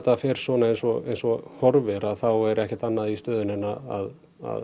að fer svona eins og eins og horfir þá er ekkert annað í stöðunni en að